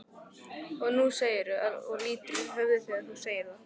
Og nú segirðu og lýtur höfði þegar þú segir það.